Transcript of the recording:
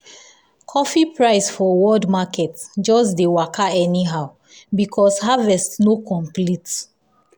coffee price for world market just dey waka anyhow because harvest no complete.